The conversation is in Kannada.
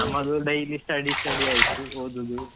ನಮ್ಮದು daily study study ಆಯ್ತು ಓದುದು.